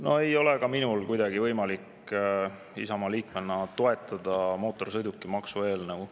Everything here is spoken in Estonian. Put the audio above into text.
No ei ole ka minul kuidagi võimalik Isamaa liikmena toetada mootorsõidukimaksu eelnõu.